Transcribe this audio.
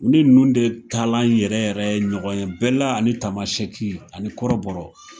Ni ninnu de taalan yɛrɛ yɛrɛ ye ɲɔgɔn ye bɛla ani tamasɛki ani kɔrɔbɔrɔ.